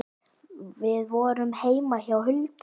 Við vorum heima hjá Huldu.